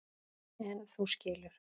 En þú skilur.